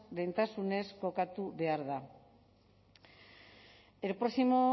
lehentasunez kokatu behar da el próximo